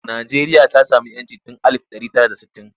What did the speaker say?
Najeriya ta sami 'yancin tun alif ɗari tara da sittin.